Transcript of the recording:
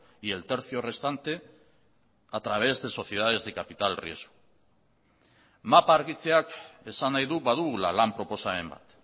y el tercio restante a través de sociedades de capital riesgo mapa argitzeak esan nahi du badugula lan proposamen bat